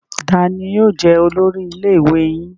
Taani yóò jẹ olórí ilé ìwé yín?